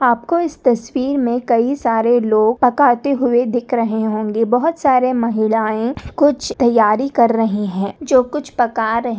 आपको इस तस्वीर में कई सारे लोग पकाते हुए दिख रहे होंगे बहुत सारे महिलाएं कुछ तैयारी कर रहे है जो कुछ पका रहि--